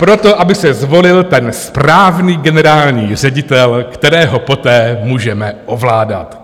Proto, aby se zvolil ten správný generální ředitel, kterého poté můžeme ovládat.